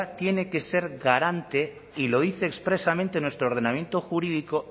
tiene que ser garante y lo dice expresamente en nuestro ordenamiento jurídico